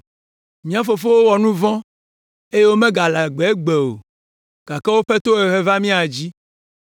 Mía fofowo wɔ nu vɔ̃ eye womegale agbe o gake woƒe tohehe va mía dzi.